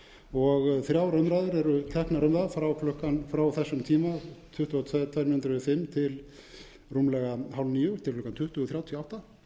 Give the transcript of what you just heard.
og þrjár umræður eru teknar um það frá þessum tíma tuttugu og tvær mínútur yfir fimm til rúmlega hálf níu til klukkan tuttugu þrjátíu og átta